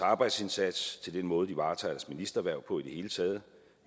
arbejdsindsats til den måde de varetager ministerhverv på i det hele taget